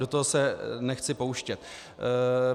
Do toho se nechci pouštět.